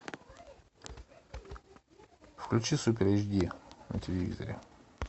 включи супер эйч ди на телевизоре